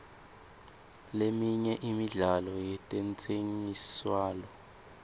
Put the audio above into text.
leminye imidlalo yetentsengiselwano